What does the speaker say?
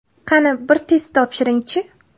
Qani, bir test topshiring-chi!.